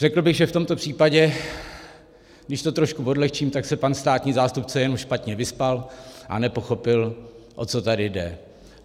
Řekl bych, že v tomto případě, když to trošku odlehčím, tak se pan státní zástupce jen špatně vyspal a nepochopil, o co tady jde.